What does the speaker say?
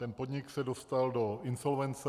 Ten podnik se dostal do insolvence.